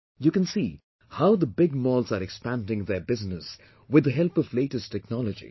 You can see how the big malls are expanding their business with the help of latest technology